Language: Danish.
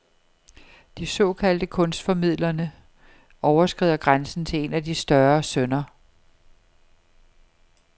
De såkaldte kunstformidlerne overskrider grænsen til en af de større synder.